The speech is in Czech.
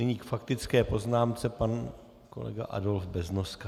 Nyní k faktické poznámce pan kolega Adolf Beznoska.